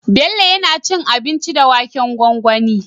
Bello yAna cin abinci da waken gwangwani